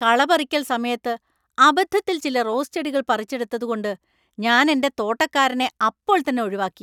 കളപറിക്കൽ സമയത്ത് അബദ്ധത്തിൽ ചില റോസ് ചെടികൾ പറിച്ചെടുത്തതുകൊണ്ട് ഞാൻ എന്‍റെ തോട്ടക്കാരനെ അപ്പോൾത്തന്നെ ഒഴിവാക്കി.